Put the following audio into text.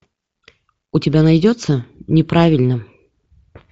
у тебя найдется неправильно